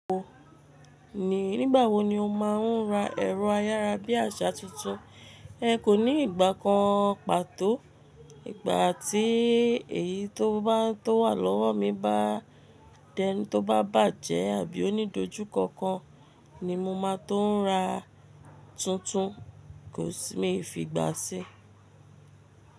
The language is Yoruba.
O, ní ìgbà wo ni o máa ń ra ẹ̀rọ ayára bí àṣá tuntun? Ẹ kò ní ìgbà kan pàtó, ìgbà tí èyí tó bá tó wà lọ́wọ́ mi bá dẹ́ nu tó bá bàjẹ́ àbí onídójú ko kan ni mo máa tó ń ra tuntun, kò sì mi fi ìgbà sí.